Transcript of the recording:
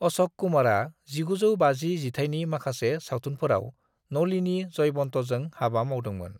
अशक कुमारा 1950 जिथायनि माखासे सावथुफोराव नलिनी जयवंतजों हाबा मावदोंमोन।